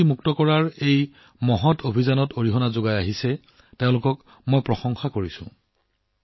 নিচামুক্তকৰণৰ এই উদাৰ অভিযানত অৰিহণা যোগোৱা সকলোকে ধন্যবাদ জনাইছো